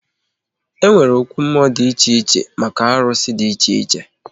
E nwere okwu mmụọ dị iche iche maka arụsị dị iche iche